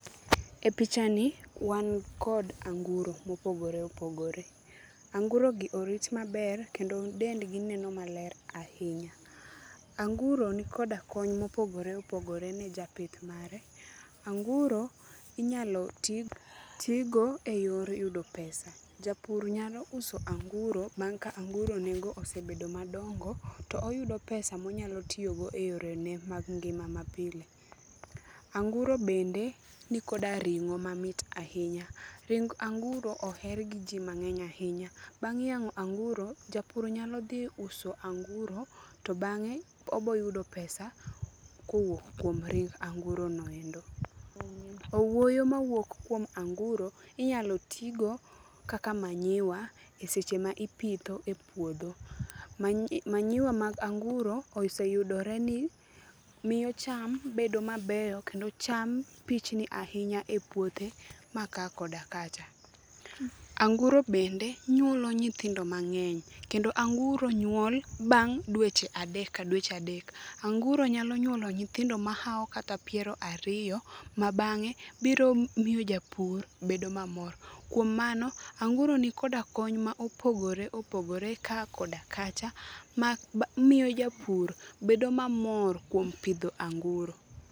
E pichani wan kod anguro mopogore opogore, angurogi orit maber kendo dendgi neno maler ahinya. Anguro ni koda kony mopogore opogore ne japith mare. Anguro inyalo tigo e yor yudo pesa, japur nyalo uso anguro bang' ka anguro ne go osebedo madongo, to oyudo pesa monyalo tiyogo e yorene mag ngimane mapile. Anguro bende nikoda ring'o mamit ahinya, ring anguro oher gi ji mang'eny ahinya. Bang' yang'o anguro, japur nyalo dhi uso anguro to bang'e oboyudo pesa kowuok kuom ring anguro noendo. Owuoyo mawuok kuom anguro inyalo tigo kaka manyiwa e seche ma ipitho e puodho. Manyiwa mag anguro oseyudore ni miyo cham bedo mabeyo kendo cham pichni ahinya e puothe ma ka koda kacha. Anguro bende nyuolo nyithindo mang'eny. Kendo anguro nyuol bang' dweche adek ka dweche adek, anguro nyalo nyuolo nyithindo mahawo kata piero ariyo ma bang'e biro miyo japur bedo mamor. Kuom mano, anguro ni koda kony ma opogore opogore ka koda kacha ma miyo japur bedo mamor kuom pidho anguro.